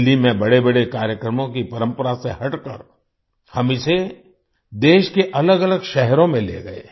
दिल्ली में बड़ेबड़े कार्यक्रमों की परंपरा से हटकर हम इसे देश के अलगअलग शहरों में ले गए